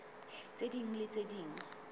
tse ding le tse ding